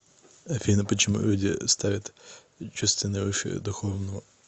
афина почему люди ставят чувственное выше духовного